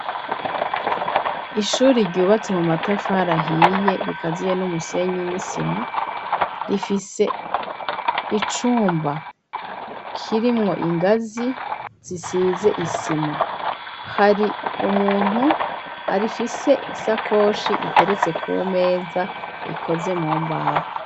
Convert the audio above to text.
Ishuri, ryubatse mu matafari ahiye, rikaziye n'umusenyi n'isima, rifise icumba kirimwo ingazi, zisize isima; hari umuntu afise isakoshi, iteretse kumeza, ikoze mu mbaho.